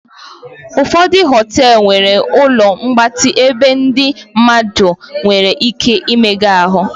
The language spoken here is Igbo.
ụfọdụ họtelu nwere ụlọ mgbatị ebe ndị mmadụ nwere ike imega ahụ